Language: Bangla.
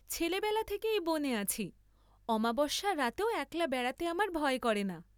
ছেলাবেলা থেকে এই বনে আছি, অমাবস্যার রাতেও একলা বেড়াতে আমার ভয় করে না।